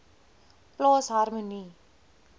plaas harmonie